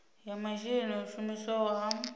ya masheleni o shumisiwaho a